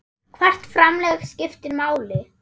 Hvert framlag skiptir máli.